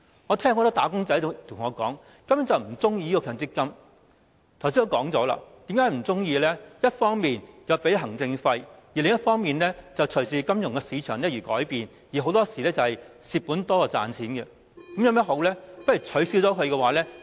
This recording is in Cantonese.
我剛才也說過為何"打工仔"不喜歡強積金制度，因為一方面要支付行政費，另一方面會隨着金融市場而改變，很多時候是虧本多於賺錢，那有甚麼好處？